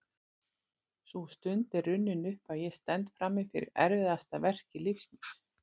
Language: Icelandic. Sú stund er runnin upp að ég stend frammi fyrir erfiðasta verki lífs míns.